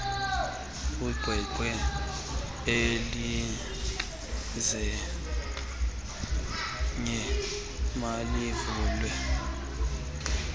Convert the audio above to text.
iqweqwe elilelinye malivulwe